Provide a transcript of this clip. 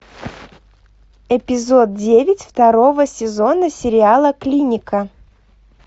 эпизод девять второго сезона сериала клиника